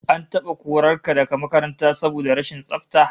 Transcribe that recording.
An taba korar ka daga makaranta saboda rashin tsafta?